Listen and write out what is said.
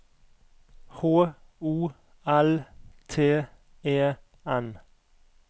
H O L T E N